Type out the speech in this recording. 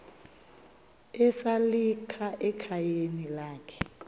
esalika ekhayeni lakhe